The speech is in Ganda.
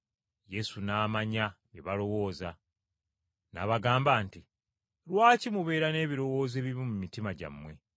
Yesu n’amanya bye balowooza. N’abagamba nti, “Lwaki mubeera n’ebirowoozo ebibi mu mitima gyammwe?